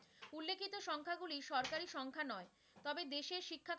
সংখ্য়াগুলি সরকারী সংখ্যা নয়, তবে দেশের শিক্ষা গুলি,